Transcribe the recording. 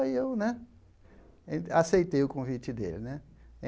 Aí eu né en aceitei o convite dele né.